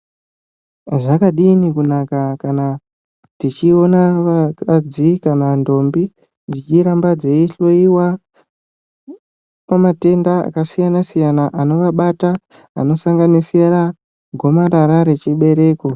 Zvakadini kunaka kana tichiona vakadzi kana ntombi dzichiramba dzeyihloyiwa pamatenda akasiyana-siyana anovabata, anosanganisira gomarara rechibereko.